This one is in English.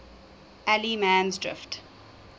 allemansdrift